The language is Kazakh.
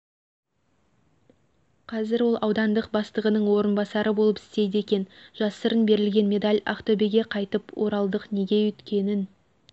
қазір ол аудандық бастығының орынбасары болып істейді екен жасырын берілген медаль ақтөбеге қайтып оралдық неге өйткенін